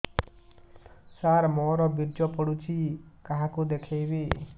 ସାର ମୋର ବୀର୍ଯ୍ୟ ପଢ଼ୁଛି କାହାକୁ ଦେଖେଇବି